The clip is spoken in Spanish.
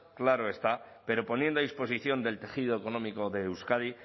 claro está pero poniendo a disposición del tejido económico de euskadi